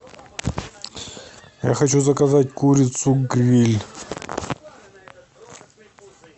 я хочу заказать курицу гриль